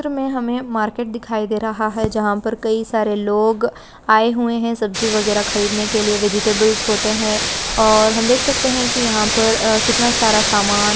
चित्र में हमें मार्केट दिखाई दे रहा है जहां पर कई सारे लोग आए हुए हैं सब्जी वगैरह खरीदने के लिए वेजिटेबल्स होते हैं और हम देख सकते हैं कि यहां पर आ कितना सारा सामान--